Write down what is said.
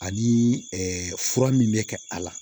Ani fura min bɛ kɛ a la